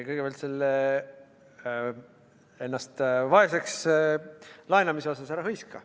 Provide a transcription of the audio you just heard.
Kõigepealt, selle ennast vaeseks laenamise kohta – ära hõiska.